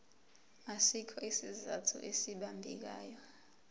asikho isizathu esibambekayo